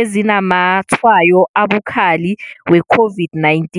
ezinazamatshwayo abukhali we-COVID-19.